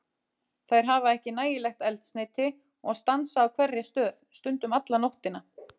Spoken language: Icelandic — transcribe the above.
Þær hafa ekki nægilegt eldsneyti og stansa á hverri stöð, stundum alla nóttina.